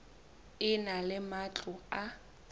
e na le matlo a